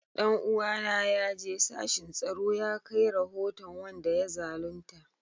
Dan uwana ya je sashin tsaro ya kai rahoton wanda ya zalunta